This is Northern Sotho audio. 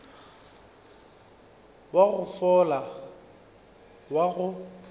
wa go fola wa go